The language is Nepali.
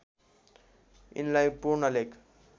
यिनलाई पूर्ण लेख